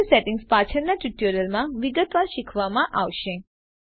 render settings પાછળના tutorials માં વિગતવાર શીખવવામાં આવશે